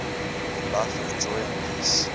a life of joy and peace